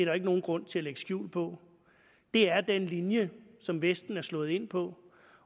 jo ikke nogen grund til at lægge skjul på det er den linje som vesten er slået ind på